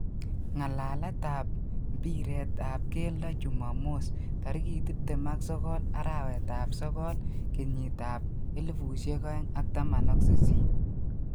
Ngalaletap ap mpiret ap keldo jumamos 29.09.2018